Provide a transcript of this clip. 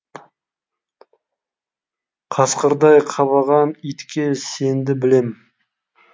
қасқырдай қабаған итке сенді білем